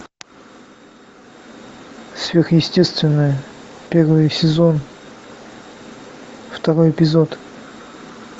сверхъестественное первый сезон второй эпизод